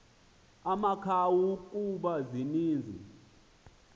amakhawu kuba zininzi